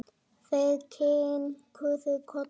Þær kinkuðu kolli.